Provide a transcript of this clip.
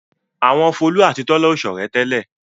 Àwọn Folú àti Tọ́lá ò ṣọ̀rẹ́ tẹ́lẹ̀.